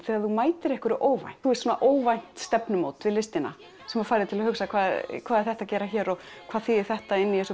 þegar þú mætir einhverju óvænt svona óvænt stefnumót við listina sem fær þig til að hugsa hvað er þetta að gera hér og hvað þýðir þetta inni í þessu